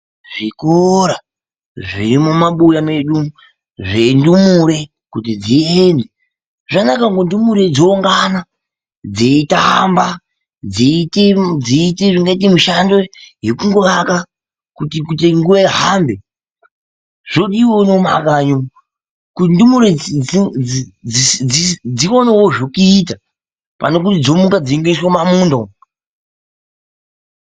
Zvikora zviri mumabuya medu umwo zvendumure kuti dziende, zvakanaka kuti ndumure dzoungana dzeitamba dzeite ingaita mishando yekungowaka kuti nguva ihambe zvodiwawo mumaraini kuti ndumure dziwane zvokuita pane zvokungoti dzomuka dzeiswe mumamunda umwo.